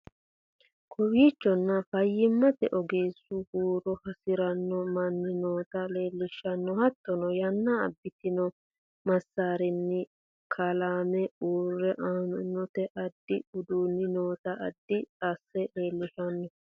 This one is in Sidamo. Kowichonno fayimatte oogesuna huure haasiranno maani noota lelshanno haatono yaana aabitno maasarini kaalame huure aanotanna addi uuduni nootana addi ase lelshanno